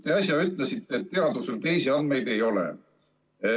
Te äsja ütlesite, et teadusel teisi andmeid ei ole.